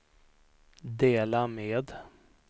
dela med